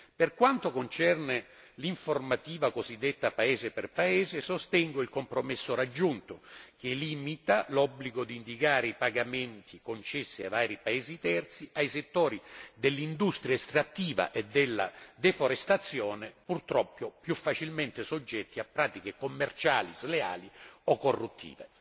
Per quanto concerne l'informativa cosiddetta paese per paese, sostengo il compromesso raggiunto che limita l'obbligo di indicare i pagamenti concessi ai vari paesi terzi, ai settori dell'industria estrattiva e della deforestazione, purtroppo più facilmente soggetti a pratiche commerciali sleali o corruttive.